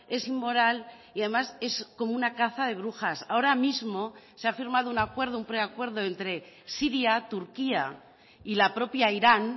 es inmoral y además es como una caza de brujas ahora mismo se ha firmado un acuerdo un preacuerdo entre siria turquía y la propia irán